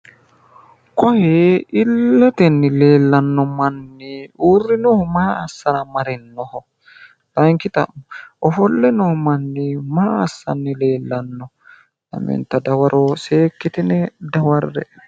Kuni illetenni leellanno manni uurrinohu maa asasra marinnoho layiinki xa'mo ofolle noo manni maa assanni leellanno lamenta dawaro seekkitine dawarre'e